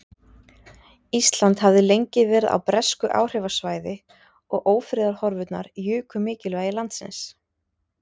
Ísland hafði lengi verið á bresku áhrifasvæði og ófriðarhorfurnar juku mikilvægi landsins.